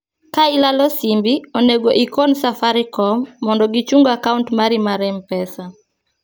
ka ilalo simbi, onego ikoni safarikom mondo gichung akaunt mari mar mpesa